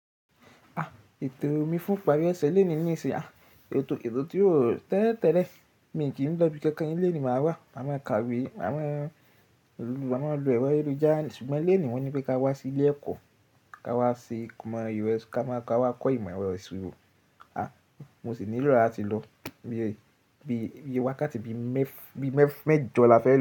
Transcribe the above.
À, ètò mi fún ìparí ọ̀sẹ̀ léènì ní ìṣin à, ètò ètò tí róò tẹ́lẹ̀ tẹ́lẹ̀. Mi kì í ń lọ ibi kankan, ilé nì máa wà, maa máa ń kàwé, máa máa maa maa ń lo ẹ̀rọ ayelujà, ṣùgbọ́n léènì wọ́n ní pé ká wá sí ilé ẹ̀kọ́, ká wá ṣe komo si, ká wá kọ́ ìmọ̀ ẹ̀rọ ìṣirò. À, mo sì ní ló latí lọ iye bí iye wákátí bí mef bi mef bi mẹ́jọ la fẹ́ lọ.